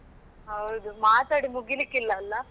ಹೌದು ಮಾತಾಡಿ ಮುಗಿಲಿಕ್ಕೆ ಇಲ್ಲ ಅಲಾ.